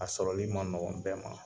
A sɔrɔli man nɔgɔn bɛɛ ma